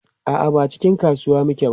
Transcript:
a'a ba a cikin kasuwa muke ba